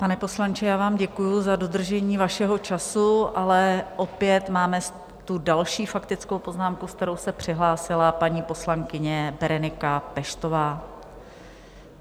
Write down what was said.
Pane poslanče, já vám děkuji za dodržení vašeho času, ale opět máme tu další faktickou poznámku, se kterou se přihlásila paní poslankyně Berenika Peštová.